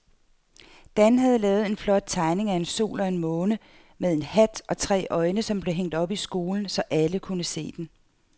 Dan havde lavet en flot tegning af en sol og en måne med hat og tre øjne, som blev hængt op i skolen, så alle kunne se den.